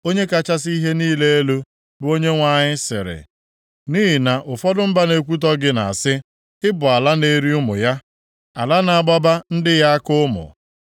“ ‘Onye kachasị ihe niile elu, bụ Onyenwe anyị sịrị, nʼihi na ụfọdụ mba na-ekwutọ gị na-asị, “Ị bụ ala na-eri ụmụ ya, ala na-agbaba ndị ya aka ụmụ.”